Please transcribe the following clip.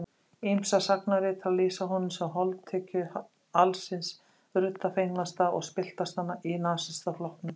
Ýmsir sagnaritarar lýsa honum sem holdtekju alls hins ruddafengnasta og spilltasta í Nasistaflokknum.